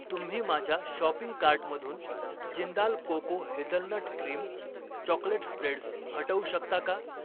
तुम्ही माझ्या शॉपिंग कार्टमधून Jindal cocoa hazelnut cream chocolate spreads हटवू शकता का